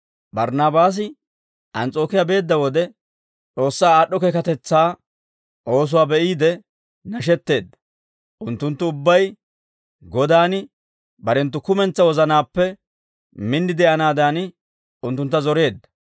Barnaabaasi Ans's'ookiyaa beedda wode, S'oossaa aad'd'o keekatetsaa oosuwaa be'iide nashetteedda; unttunttu ubbay Godan barenttu kumentsaa wozanaappe min de'anaadan, unttuntta zoreedda.